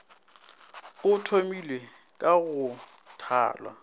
go thomilwe ka go thalwa